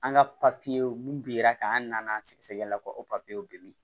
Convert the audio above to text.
An ka papiyew mun binna k'an nana sɛgɛsɛgɛli la ko o papiyew bɛ min